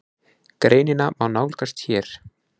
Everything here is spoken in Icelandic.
Greinina má nálgast hér